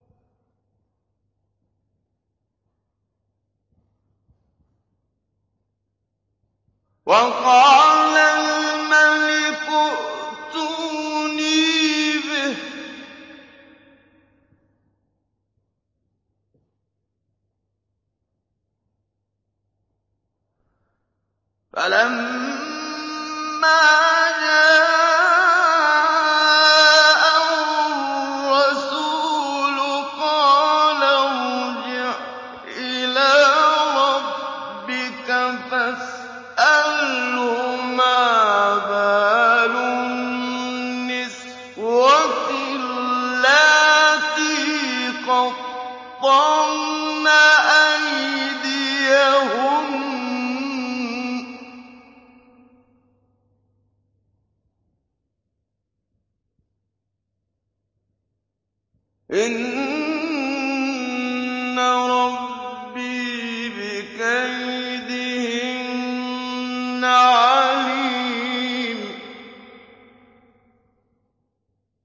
وَقَالَ الْمَلِكُ ائْتُونِي بِهِ ۖ فَلَمَّا جَاءَهُ الرَّسُولُ قَالَ ارْجِعْ إِلَىٰ رَبِّكَ فَاسْأَلْهُ مَا بَالُ النِّسْوَةِ اللَّاتِي قَطَّعْنَ أَيْدِيَهُنَّ ۚ إِنَّ رَبِّي بِكَيْدِهِنَّ عَلِيمٌ